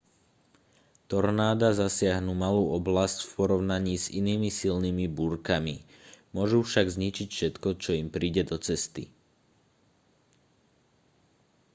tornáda zasiahnu malú oblasť v porovnaní s inými silnými búrkami môžu však zničiť všetko čo im príde do cesty